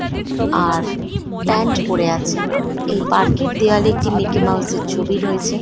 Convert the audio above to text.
আর pant পরে আছে। এই পার্ক এর দেওয়ালে একটি মিকি মাউস এর একটি ছবি রয়েছে।